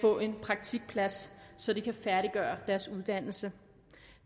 få en praktikplads så de kan færdiggøre deres uddannelse